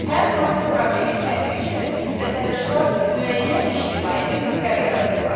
Hər hansı problemin həlli üçün vətəndaşlar müəyyən ictimai birliklər yaradırlar.